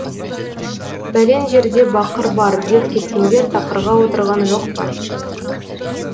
бәлен жерде бақыр бар деп кеткендер тақырға отырған жоқ па